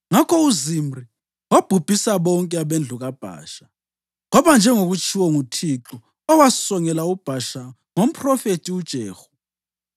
Ngakho uZimri wabhubhisa bonke abendlu kaBhasha, kwaba njengokwatshiwo nguThixo owasongela uBhasha ngomphrofethi uJehu